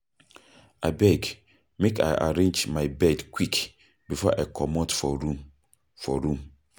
Abeg, make I arrange my bed quick before I comot for room. for room.